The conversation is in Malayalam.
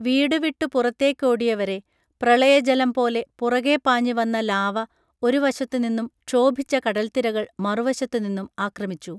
വീടു വിട്ടു പുറത്തേക്കോടിയവരെ പ്രളയജലം പോലെ പുറകെ പാഞ്ഞുവന്ന ലാവ ഒരു വശത്തു നിന്നും ക്ഷോഭിച്ച കടൽത്തിരകൾ മറുവശത്തു നിന്നും ആക്രമിച്ചു